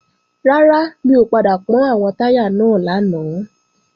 Rárá, mi ò padà pọ́n àwọn táyà náà lánàá